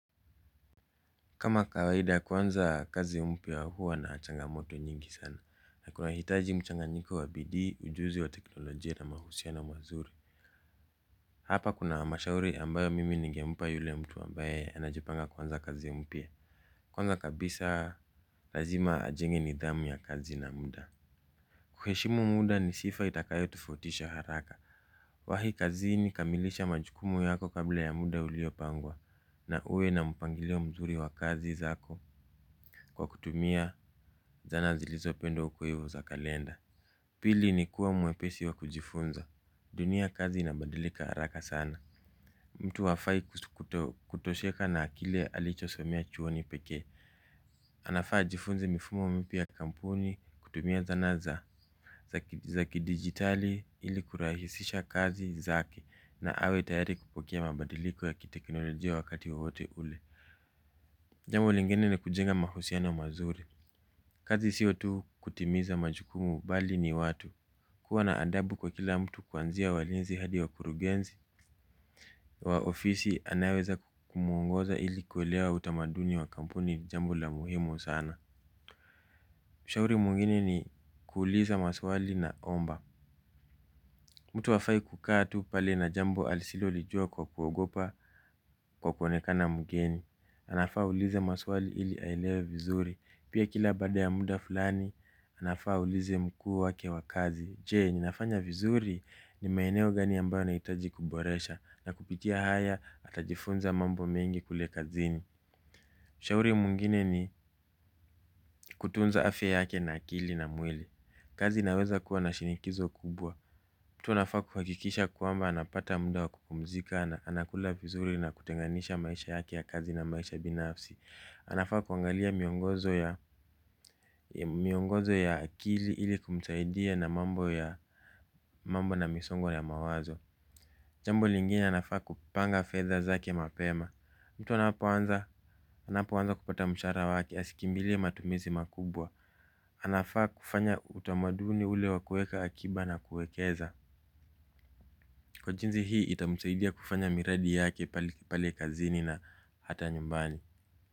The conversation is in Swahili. Kama kawaida kuanza kazi mpya huwa na changamoto nyingi sana. Nakunahitaji mchanganyiko wa bidii ujuzi wa teknolojia na mahusiano mazuri. Hapa kuna mashauri ambayo mimi ningempa yule mtu ambaye anajipanga kuanza kazi mpya. Kwanza kabisa lazima ajenge nidhamu ya kazi na muda. Kuheshimu muda ni sifa itakayo tofautisha haraka kwahii kazini kamilisha majukumu yako kabla ya muda uliopangwa na uwe na mpangilio mzuri wa kazi zako. Kwa kutumia zana zilizo pendwa hukuivi za kalenda. Pili ni kuwa mwepesi wa kujifunza. Dunia kazi inabadilika haraka sana. Mtu hafai kutosheka na akili alicho somea chuoni pekee. Anafaa ajifunze mifumo mpya kampuni kutumia zanaza zaki digitali ili kurahisisha kazi zake na awe tayari kupokea mabadiliko ya kitekinolojia wakati wowote ule. Jambo lingine ni kujenga mahusiano mazuri. Kazi sio tu kutimiza majukumu bali ni watu. Kuwa na adabu kwa kila mtu kwanzia walinzi hadi wakurugenzi wa ofisi anayeweza kumuongoza ili kuelewa utamaduni wa kampuni jambo la muhimu sana. Ushauri mwingine ni kuuliza maswali naomba. Mtu hafai kukaa tu pale na jambo asilolijua kwa kuogopa kwa kuonekana mgeni. Anafaa aulize maswali ili aelewe vizuri. Pia kila bada ya muda fulani, anafaa auliza mkuu wake wa kazi. Je, ninafanya vizuri ni maeneo gani ambayo nahitaji kuboresha na kupitia haya atajifunza mambo mengi kule kazini. Ushauri mwingine ni kutunza afya yake na akili na mwili. Kazi inaweza kuwa na shinikizo kubwa. Mtu anafaa kuhakikisha kwamba anapata muda wa kupumzika. Anakula vizuri na kutenganisha maisha yake ya kazi na maisha binafsi. Anafaa kuangalia miongozo ya akili ili kumsaidia na mambo ya misongo ya mawazo. Jambo lingine anafaa kupanga fedha zake mapema. Mtu anapoanza kupata mshahara wake asikimbilie matumizi makubwa. Anafaa kufanya utamaduni ule wakuweka akiba na kuwekeza. Kwa jinsi hii itamsaidia kufanya miradi yake pale kazini na hata nyumbani.